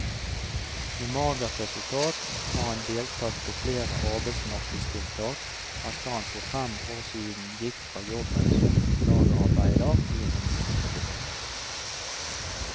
Med magert resultat har han deltatt på flere arbeidsmarkedstiltak etter at han for fem år siden gikk fra jobben som lagerarbeider i en industribedrift.